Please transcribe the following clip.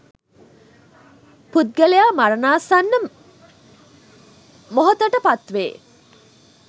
පුද්ගලයා මරණාසන්න මොහතට පත්වේ